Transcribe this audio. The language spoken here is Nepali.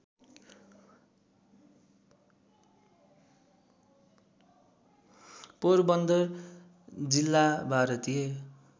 पोरबन्दर जिल्ला भारतीय